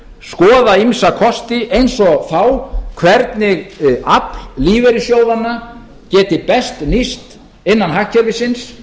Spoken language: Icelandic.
skoða ýmsa kosti eins og þá hvernig afl lífeyrissjóðanna geti best nýst innan hagkerfisins